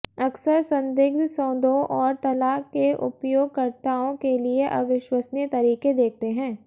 अक्सर संदिग्ध सौदों और तलाक के उपयोगकर्ताओं के लिए अविश्वसनीय तरीके देखते हैं